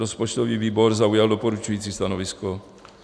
Rozpočtový výbor zaujal doporučující stanovisko.